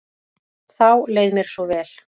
Þá leið mér svo vel.